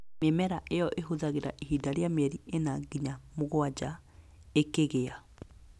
Mĩmera ĩyo ĩhũthagĩra ihinda rĩa mĩeri ĩna nginya mũgwanja ĩkĩgĩa.